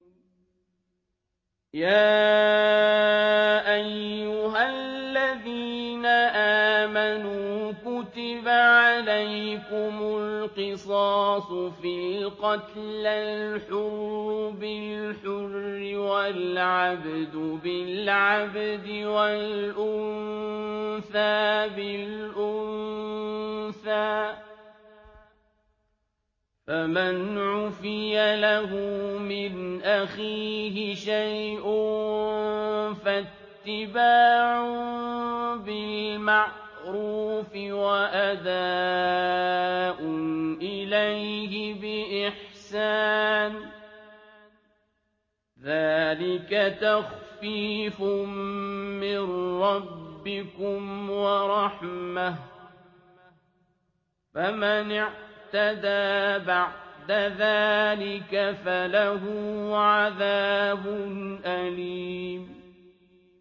يَا أَيُّهَا الَّذِينَ آمَنُوا كُتِبَ عَلَيْكُمُ الْقِصَاصُ فِي الْقَتْلَى ۖ الْحُرُّ بِالْحُرِّ وَالْعَبْدُ بِالْعَبْدِ وَالْأُنثَىٰ بِالْأُنثَىٰ ۚ فَمَنْ عُفِيَ لَهُ مِنْ أَخِيهِ شَيْءٌ فَاتِّبَاعٌ بِالْمَعْرُوفِ وَأَدَاءٌ إِلَيْهِ بِإِحْسَانٍ ۗ ذَٰلِكَ تَخْفِيفٌ مِّن رَّبِّكُمْ وَرَحْمَةٌ ۗ فَمَنِ اعْتَدَىٰ بَعْدَ ذَٰلِكَ فَلَهُ عَذَابٌ أَلِيمٌ